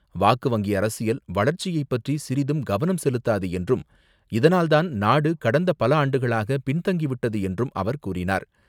வாக்கு வங்கி அரசியல் வளர்ச்சியைப் பற்றி சிறிதும் கவனம் செலுத்தாது என்றும், இதனால் தான் நாடு கடந்த பல ஆண்டுகளாக பின்தங்கிவிட்டது என்றும் அவர் கூறினார்.